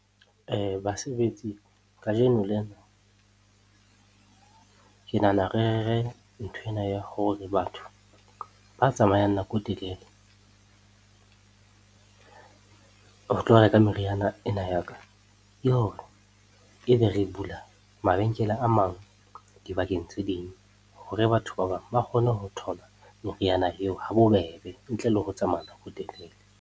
Basebetsi, kajeno lena ke nahana nthwena ya hore batho ba tsamayang nako e telele ho tlo reka meriana ena ya ka, ke hore ebe re bula mabenkele a mang dibakeng tse ding hore batho ba bang ba kgone ho thola meriana eo ha bobebe ntle le ho tsamaya ho telele.